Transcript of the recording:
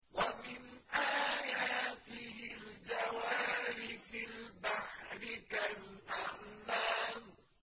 وَمِنْ آيَاتِهِ الْجَوَارِ فِي الْبَحْرِ كَالْأَعْلَامِ